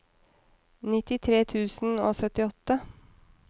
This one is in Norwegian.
nittitre tusen og syttiåtte